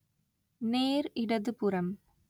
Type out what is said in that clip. நேர் இடதுபுறம்